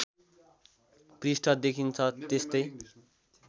पृष्ठ देखिन्छ त्यस्तै